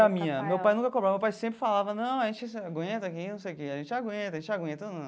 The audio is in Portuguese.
Minha, meu pai nunca cobrava, meu pai sempre falava, não, a gente aguenta aqui não sei o que, a gente aguenta, a gente aguenta, não.